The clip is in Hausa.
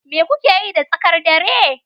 Me kuka yi da tsakar dare?